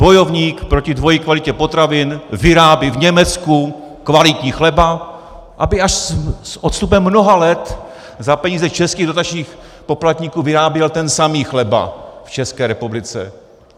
Bojovník proti dvojí kvalitě potravin vyrábí v Německu kvalitní chleba, aby až s odstupem mnoha let za peníze českých dotačních poplatníků vyráběl ten samý chleba v České republice.